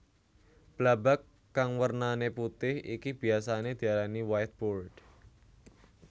Blabag kang wernané putih iki biyasané diarani whiteboard